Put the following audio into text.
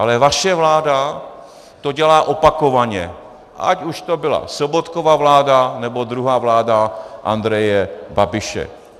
Ale vaše vláda to dělá opakovaně, ať už to byla Sobotkova vláda, nebo druhá vláda Andreje Babiše.